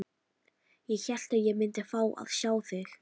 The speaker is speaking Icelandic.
Ég hélt að ég myndi fá að sjá þig.